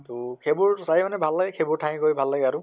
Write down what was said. তʼ সেইবোৰ মানে ভাল লাগে, সেইবোৰ ঠাইত গৈ ভাল লাগে আৰু